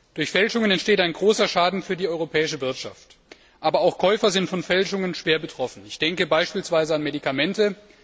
Durch Fälschungen entsteht ein großer Schaden für die europäische Wirtschaft, aber auch Käufer sind von Fälschungen schwer betroffen. Ich denke beispielsweise an Medikamente.